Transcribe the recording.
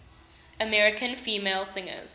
american female singers